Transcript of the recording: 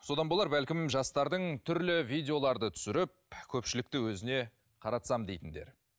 содан болар бәлкім жастардың түрлі видеоларды түсіріп көпшілікті өзіне қаратсам дейтіндері